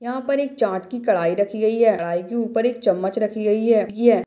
यहाँ पर एक चाट की कढ़ाई रखी गई है कढ़ाई की ऊपर एक चम्मच रखी गई है। ये--